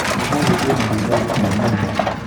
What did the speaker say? ũmũthĩ kwĩna riũa rĩhiũ mũno.